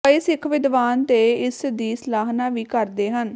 ਕਈ ਸਿੱਖ ਵਿਦਵਾਨ ਤੇ ਇਸ ਦੀ ਸਲਾਹਨਾ ਵੀ ਕਰਦੇ ਹਨ